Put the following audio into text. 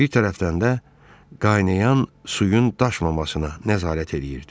Bir tərəfdən də qaynayan suyun daşmamasına nəzarət eləyirdi.